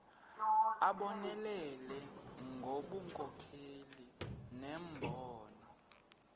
abonelele ngobunkokheli nembono